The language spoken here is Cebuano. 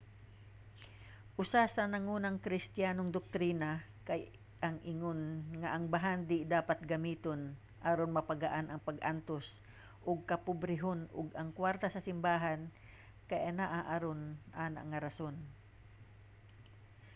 usa sa nangunang kristiyanong doktrina kay ang ingon nga ang bahandi dapat gamiton aron mapagaan ang pag-antos ug kapobrehon ug ang kwarta sa simbahan kay anaa aron ana nga rason